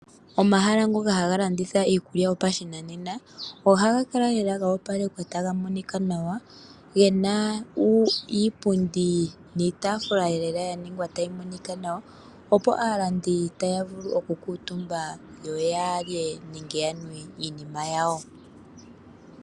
Omahala ngoka haga landitha iikulya yopashinanena, ohaga kala lela ga opelekwa taga monika nawa gena iipundi niitaafula lela yaningwa tayi monika nawa opo aalandi taya vulu okukuutumba yoyalye nenge yanwe iinima yawo.